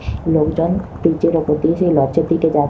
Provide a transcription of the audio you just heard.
লোকজন ব্রিজ -এর ওপর দিয়ে সেই লঞ্চ -এর দিকে যা--